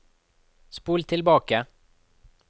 spol tilbake